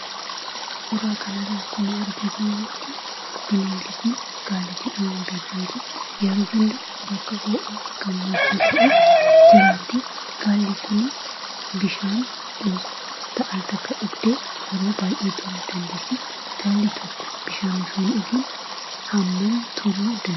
Suuraa kanarraa akkuma argaa jirrutti bineeldi kun gaala jedhamuun beekamti. Yeroo hundaa bakka ho'aa gammoojjii ta'e jiraatti. Gaalli kunis bishaan al takka dhugdee, yeroo baay'ee turuu dandeessi. Gaalli tokko bishaan osoo hin dhugiin yeroo hammamii turuu dandeessi?